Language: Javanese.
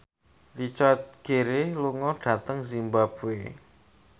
Richard Gere lunga dhateng zimbabwe